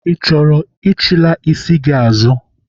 Ị chọrọ ichilaa isi gị azụ?